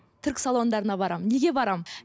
түрік салондарына барамын неге барамын